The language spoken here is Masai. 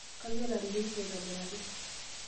Kayiolo ateyierisho aitobiraki.